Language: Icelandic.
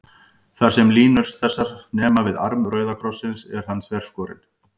Þar, sem línur þessar nema við arm rauða krossins, er hann þverskorinn.